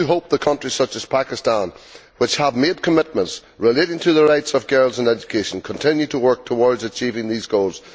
I do hope that countries such as Pakistan, which have made commitments relating to the rights of girls in education, continue to work towards achieving these goals.